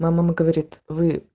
мама говорит